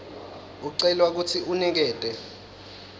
ucelwa kutsi unikete